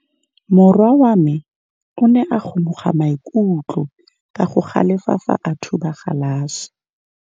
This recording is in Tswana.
Morwa wa me o ne a kgomoga maikutlo ka go galefa fa a thuba galase.